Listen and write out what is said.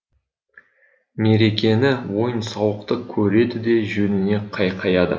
мерекені ойын сауықты көреді де жөніне қайқаяды